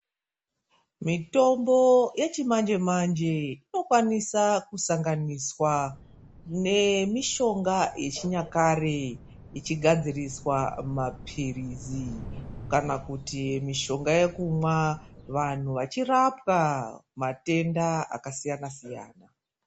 Mitombo yechimanje- manje inokwanisa kusanganiswa nemitombo yechinyakare ichigadziriswa mapiririzi, kana kuti mitombo yekumwa. Vanthu vechirapwa matenda akasiyana siyana.